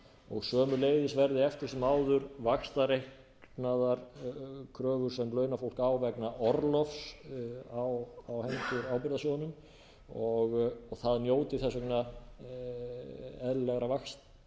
og sömuleiðis verði eftir sem áður vaxtareiknaðar kröfur sem launafólk á vegna orlofs á hendur ábyrgðasjóðnum og það njóti þess vegna eðlilegra vaxtagreiðslna vegna